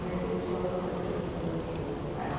Mercedes Sosa veio fazer um show ali.